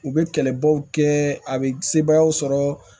U bɛ kɛlɛbaw kɛ a bɛ sebayaw sɔrɔ